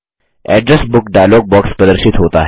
address book dialog box प्रदर्शित होता है